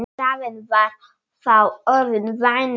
Staðan var þá orðin vænleg.